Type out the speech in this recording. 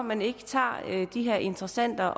man ikke tager de her interessante